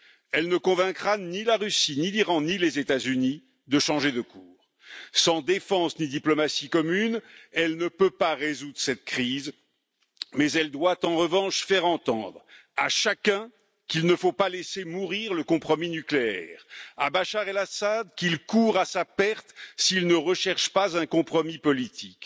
Elle ne convaincra ni la Russie, ni l'Iran, ni les États Unis de changer de cap. Sans défense ni diplomatie communes, elle ne peut pas résoudre cette crise, mais elle doit en revanche faire entendre à chacun qu'il ne faut pas laisser mourir le compromis nucléaire, à Bachar Al Assad qu'il court à sa perte s'il ne recherche pas un compromis politique,